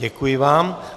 Děkuji vám.